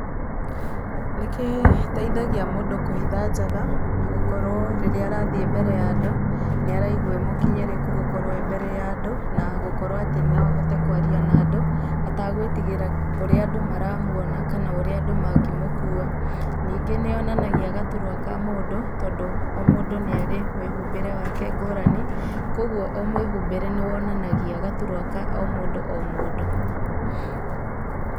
Nĩ gĩteithagia mũndũ kũhitha njaga, na gũkorwo rĩrĩa arathiĩ mbere ya andũ, nĩ araigwa e mũkinyĩrĩku gũkorwo e mbere ya andũ, na gũkorwo atĩ no ahote kwaria na andũ, atagwĩtigĩra ũrĩa andũ maramwona kana ũrĩa andũ mangĩmũkua. Nĩngĩ nĩ yonananagia gaturwa ka mũndũ, tondũ o mũndũ nĩ arĩ mwĩhumbĩre wake ngũrani, koguo o mwĩhumbĩre nĩ wonanagia gaturwa ka o mũndũ o mũndũ.